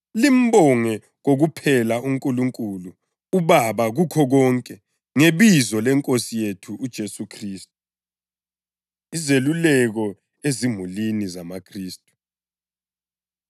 limbonge kokuphela uNkulunkulu uBaba kukho konke, ngebizo leNkosi yethu uJesu Khristu. Izeluleko Ezimulini ZamaKhristu